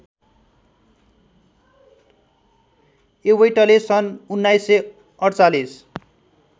एवैटले सन् १९४८